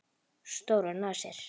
Stórar nasir.